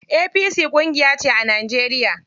APC ƙungiyace a Najeriya.